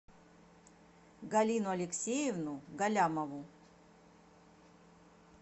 галину алексеевну галлямову